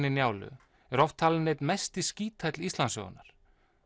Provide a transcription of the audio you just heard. í Njálu er oft talinn einn mesti skíthæll Íslandssögunnar